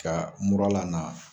Ka mura lana